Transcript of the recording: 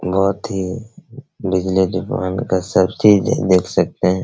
बहुत ही बिजली दुकान का सब चीज दे देख सकते हैं।